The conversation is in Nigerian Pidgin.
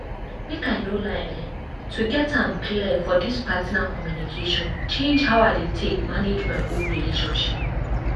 make i no lie eh to get am clear for this partner communication change how i dey take manage my own relationships.